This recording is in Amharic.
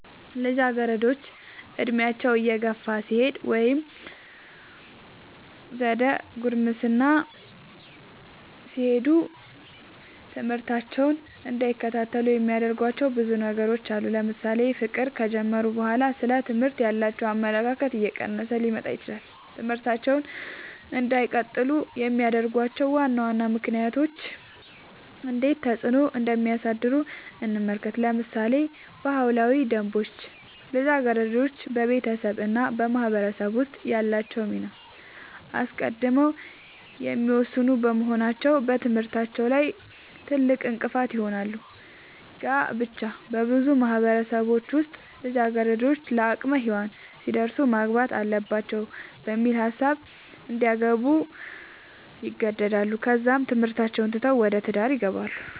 ልጃገረዶች ዕድሜያቸው እየገፋ ሲሄድ ወይም ዘደ ጉርምስና ሲሄዱ ትምህርታቸውን እንዳይከታተሉ የሚያደርጉዋቸው ብዙ ነገሮች አሉ ለምሳሌ ፍቅር ከጀመሩ በኋላ ስለ ትምህርት ያላቸው አመለካከት እየቀነሰ ሊመጣ ይችላል ትምህርታቸውን እንዳይቀጥሉ የሚያደርጉዋቸው ዋና ዋና ምክንያቶች እንዴት ተፅዕኖ እንደሚያሳድሩ እንመልከት ለምሳሌ ባህላዊ ደንቦች ልጃገረዶች በቤተሰብ እና በማህበረሰብ ውስጥ ያላቸውን ሚና አስቀድመው የሚወስኑ በመሆናቸው በትምህርታቸው ላይ ትልቅእንቅፋት ይሆናል። ጋብቻ- በብዙ ማህበረሰቦች ውስጥ ልጃገረዶች ለአቅመ ሄዋን ሲደርሱ ማግባት አለባቸው በሚል ሀሳብ እንዲያገቡ ይገደዳሉ ከዛም ትምህርታቸውን ትተው ወደ ትዳር ይገባሉ።